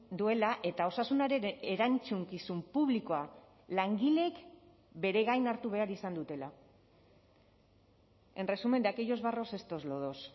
duela eta osasunaren erantzukizun publikoa langileek bere gain hartu behar izan dutela en resumen de aquellos barros estos lodos